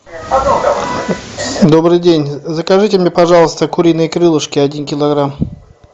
добрый день закажите мне пожалуйста куриные крылышки один килограмм